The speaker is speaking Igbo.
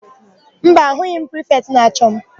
Mba, ahụghị prifetị na-achọ m.